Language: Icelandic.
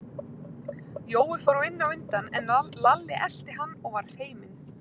Jói fór inn á undan, en Lalli elti hann og var feiminn.